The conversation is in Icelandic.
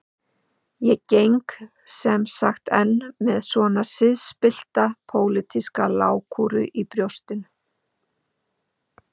Ég geng sem sagt enn með svona siðspillta pólitíska lágkúru í brjóstinu.